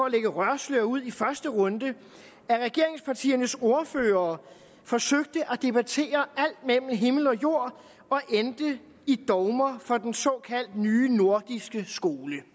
et røgslør ud i første runde at regeringspartiernes ordførere forsøgte at debattere alt mellem himmel og jord og endte i dogmer for den såkaldte nye nordiske skole